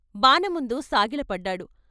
బానముందు సాగిలపడ్డాడు.